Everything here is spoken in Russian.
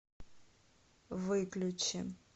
выключи